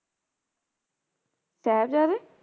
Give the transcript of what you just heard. ਸਾਹਿਬਜਾਦੇ